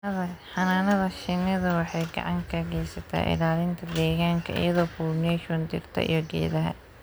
Xannaanada shinnidu waxay gacan ka geysataa ilaalinta deegaanka iyadoo pollination dhirta iyo geedaha.